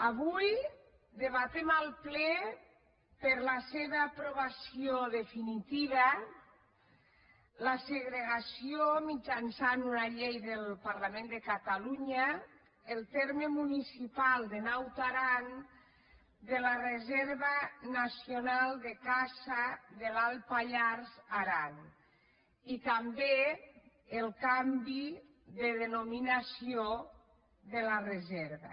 avui debatem al ple per a la seva aprovació definiti·va la segregació mitjançant una llei del parlament de catalunya del terme municipal de naut aran de la re·serva nacional de caça de l’alt pallars · aran i també el canvi de denominació de la reserva